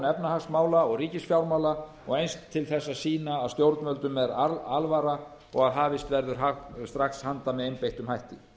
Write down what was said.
efnahagsmála og ríkisfjármála og eins til þess að sýna að stjórnvöldum er alvara og hafist verður handa strax með einbeittum hætti